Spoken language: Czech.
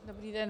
Dobrý den.